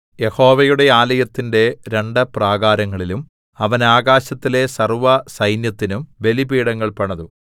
യഹോവയുടെ ആലയത്തിന്റെ രണ്ടു പ്രാകാരങ്ങളിലും അവൻ ആകാശത്തിലെ സർവ്വസൈന്യത്തിനും ബലിപീഠങ്ങൾ പണിതു